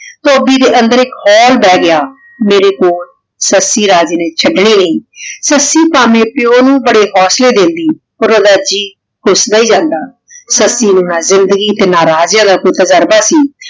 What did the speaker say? ਧੋਭੀ ਦੇ ਅੰਦਰ ਏਇਕ ਖੂਫ ਬੇਹ ਗਯਾ ਮੇਰੀ ਕੋਲ ਸੱਸੀ ਰਾਜੇ ਨੇ ਚਾਦਨੀ ਨਹੀ ਸੱਸੀ ਤਾਂ ਅਪਨੇ ਪਾਯੋ ਨੂ ਬਾਰੇ ਹੋਸਲੇ ਦੇਂਦੀ ਪਰ ਓਦਾ ਜੀ ਕੁਸਦਾ ਈ ਜਾਂਦਾ ਸੱਸੀ ਨੂ ਤੇ ਰਾਜ੍ਯਾਂ ਦਾ ਪੁਤ ਕਰਦਾ ਸੀ